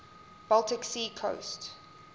baltic sea coast